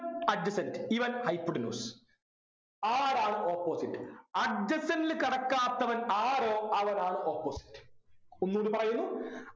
adjacent ഇവൻ hypotenuse ആരാണ് opposite adjacent ൽ കിടക്കാത്തവൻ ആരോ അവനാണ് opposite ഒന്നൂടി പറയുന്നു